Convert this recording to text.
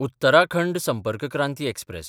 Uttarakhand Sampark Kranti express